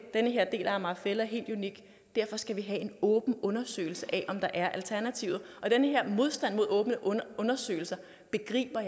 den her del af amager fælled er helt unik derfor skal vi have en åben undersøgelse af om der er alternativer den her modstand mod åbne undersøgelse begriber